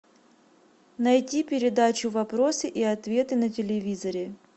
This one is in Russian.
найди передачу вопросы и ответы на телевизоре